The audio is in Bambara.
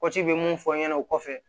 bɛ mun fɔ aw ɲɛna o kɔfɛ